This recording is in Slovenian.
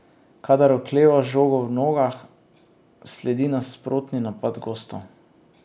Kadar okleva z žogo v nogah, sledi nasprotni napad gostov.